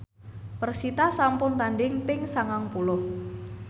persita sampun tandhing ping sangang puluh